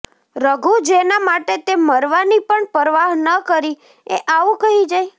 રઘુ જેના માટે તે મરવાની પણ પરવાહ ન કરી એ આવું કહી જાય